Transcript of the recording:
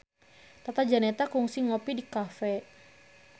Tata Janeta kungsi ngopi di cafe